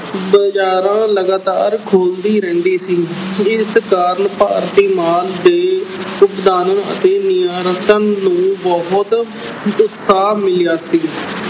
ਬਾਜ਼ਾਰਾਂ ਲਗਾਤਾਰ ਖੋਲਦੀ ਰਹਿੰਦੀ ਸੀ ਇਸ ਕਾਰਨ ਭਾਰਤੀ ਮਾਲ ਦੇ ਆਯਾਤ ਤੇ ਨਿਰਯਾਤ ਨੂੰ ਬਹੁਤ ਉਤਸਾਹ ਮਿਲਿਆ ਸੀ।